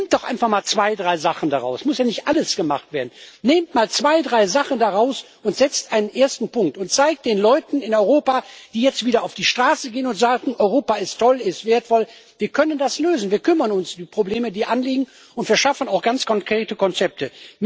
Nehmt doch einfach mal zwei, drei Sachen daraus es muss ja nicht alles gemacht werden nehmt mal zwei, drei Sachen daraus und setzt einen ersten Punkt und zeigt den Leuten in Europa, die jetzt wieder auf die Straße gehen und sagen Europa ist toll, ist wertvoll Wir können das lösen, wir kümmern uns um die Probleme, die anliegen, und wir schaffen auch ganz konkrete Konzepte.